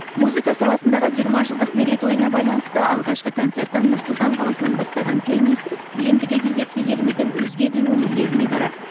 музыка саласындағы жиырма жылдық мерейтойына байланысты алғашқы концертін нұр сұлтан қаласынан бастаған пианист ендігі кезекте еліміздің өзге де өңірлеріне барады